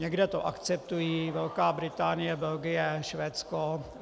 Někde to akceptují - Velká Británie, Belgie, Švédsko.